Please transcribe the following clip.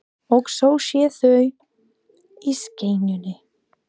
Og svo séu þau í snekkjunni.